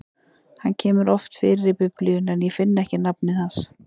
Hann kemur oft fyrir í Biblíunni, en ég finn ekki nafnið hans.